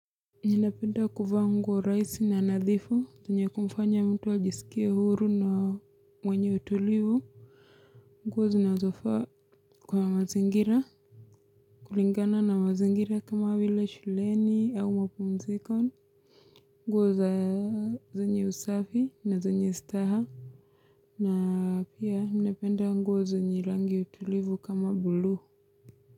Ninapenda kuvaa nguo rahisi na nadhifu zenye kumfanya mtu ajisikia huru na mwenye utulivu nguo zinazofa kwa mazingira kulingana na mazingira kama vile shuleni au mapumziko nguo za zenye usafi na zenye staha na pia ninapenda nguo za zenye rangi tulivu kama buluu.